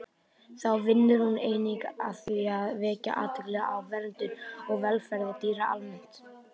Þá vinnur hún einnig að því að vekja athygli á verndun og velferð dýra almennt.